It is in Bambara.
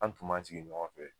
An tun sigi ɲɔgɔn fɛ